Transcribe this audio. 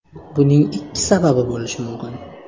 Buning ikki sababi bo‘lishi mumkin.